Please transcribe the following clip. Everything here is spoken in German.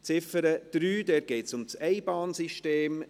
Bei der Ziffer 3 geht es um das Einbahnsystem.